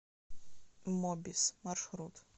мобис маршрут